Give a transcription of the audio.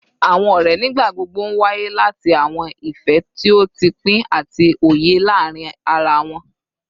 Awọn ọrẹ nigbagbogbo nwaye lati awọn ifẹ ti o pin ati oye laarin ara wọn